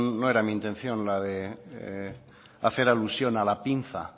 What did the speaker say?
no era mi intención la de hacer alusión a la pinza